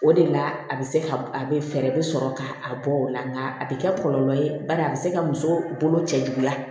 O de la a bɛ se ka a bɛ fɛɛrɛ bɛ sɔrɔ ka a bɔ o la nka a bɛ kɛ kɔlɔlɔ ye bari a bɛ se ka muso bolo cɛ juguya